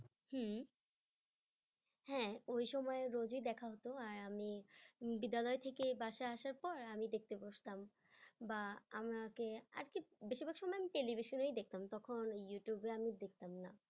হম হ্যাঁ ওই সময় রোজই দেখা হতো আর আমি বিদ্যালয় থেকে বাসার আসার পর আমি দেখতে বসতাম বা আমাকে আর কি বেশিরভাগ সময় আমি television এ দেখতাম তখন ইউটিউবে আমি দেখতাম না।